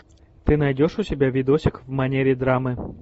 ты найдешь у себя видосик в манере драмы